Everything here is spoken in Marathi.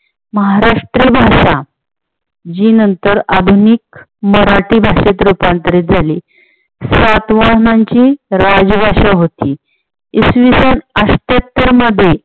महाराष्ट्री भाषा जी नंतर आधुनिक मराठी भाषेत रुपांतरीत झाली. सातवहनांची राजभाषा होती. इसविसन अठ्याहत्तर मध्ये